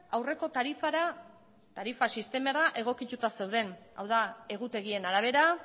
aurreko tarifara tarifa sistemara egokituta zeuden hau da egutegien arabera